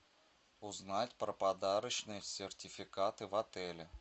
узнать про подарочные сертификаты в отеле